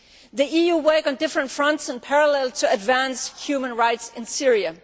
The EU is working on different fronts in parallel to advance human rights in Syria.